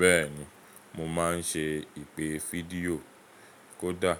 Bẹ́ẹ̀ni, mo máa ń ṣe ìpè fídíò kódà.